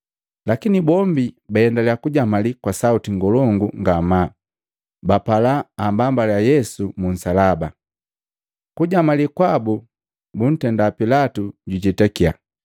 Lakini bombi baendalya kujamali kwa sauti ngolongu ngamaa, bapala ambambaliya Yesu mu nsalaba. Kujamali kwabu buntenda Pilatu jujetakiya.